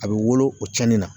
A be wolo o cɛnni na.